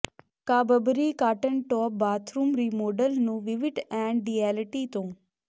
ਕਾਬਬਰੀ ਕਾਟਨਟੋਪ bathroom remodel ਨੂੰ ਵਿਵਿਟ ਐਂਡ ਡਿਐਲਿਟੀ ਤੋਂ